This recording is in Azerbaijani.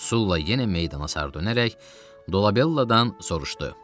Sulla yenə meydana sarı dönərək Dolabelladan soruşdu: